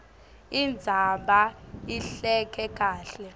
indzaba ihleleke kahle